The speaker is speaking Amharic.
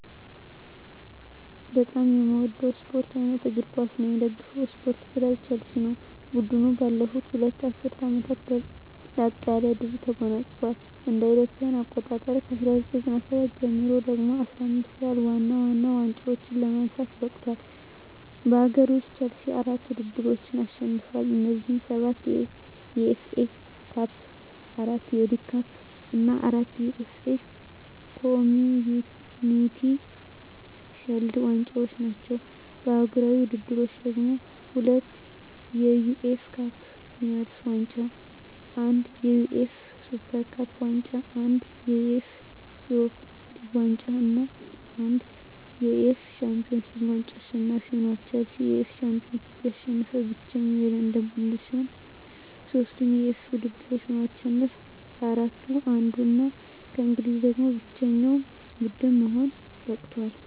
በጣም ምወደው ስፓርት አይነት እግር ኳስ ነው። ምደግፈው ስፓርት ክለብ ቸልሲ። ቡድኑ ባለፉት ሁለት ዐሥርት ዓመታት ላቅ ያለ ድል ተጎናጽፏል። ከእ.ኤ.አ 1997 ጀምሮ ደግሞ 15 ያህል ዋና ዋና ዋንጫዎችን ለማንሳት በቅቷል። በአገር ውስጥ፣ ቼልሲ አራት ውድድሮችን አሸንፏል። እነዚህም፤ ሰባት የኤፍ ኤ ካፕ፣ አራት የሊግ ካፕ እና አራት የኤፍ ኤ ኮምዩኒቲ ሺልድ ዋንጫዎች ናቸው። በአህጉራዊ ውድድሮች ደግሞ፤ ሁለት የዩኤፋ ካፕ ዊነርስ ዋንጫ፣ አንድ የዩኤፋ ሱፐር ካፕ ዋንጫ፣ አንድ የዩኤፋ ዩሮፓ ሊግ ዋንጫ እና አንድ የዩኤፋ ሻምፒዮንስ ሊግ ዋንጫ አሸናፊ ሆኖአል። ቼልሲ የዩኤፋ ሻምፒዮንስ ሊግን ያሸነፈ ብቸኛው የለንደን ቡድን ሲሆን፣ ሦስቱንም የዩኤፋ ውድድሮች በማሸነፍ ከአራቱ አንዱ እና ከእንግሊዝ ደግሞ ብቸኛው ቡድን ለመሆን በቅቷል።